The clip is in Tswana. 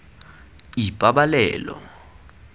ipabaleo